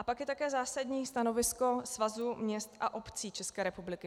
A pak je také zásadní stanovisko Svazu měst a obcí České republiky.